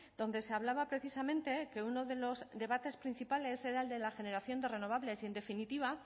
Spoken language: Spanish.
donde se hablaba precisamente que uno de los debates principales era el de la generación de renovables y en definitiva